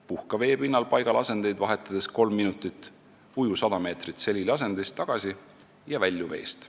Puhka vee pinnal paigalasendeid vahetades kolm minutit, uju 100 meetrit seliliasendis tagasi ja välju veest.